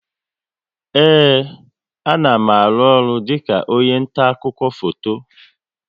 Ee, a na m aru ọrụ dịka onye nta akụkọ foto